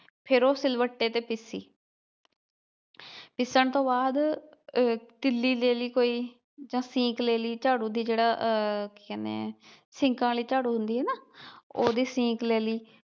ਫਿਰ ਉਹ ਸਿਲਵੱਟੇ ਤੇ ਪੀਸੀ ਪੀਸਣ ਤੋਂ ਬਾਅਦ ਅਹ ਤੀਲੀ ਲੈ ਲਈ ਕੋਈ ਜਾਂ ਸੀਖ਼ ਲੈ ਲਈ ਝਾੜੂ ਦੀ ਜਿਹੜਾ ਆਹ ਕੀ ਕਹਿਣੇ ਆ ਸੀਖਾਂ ਆਲੀ ਝਾੜੂ ਹੁੰਦੀ ਏ ਨਾ ਉਹ ਦੀ ਸੀਖ ਲੈ ਲੀ।